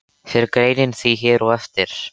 Fer greinin því hér á eftir.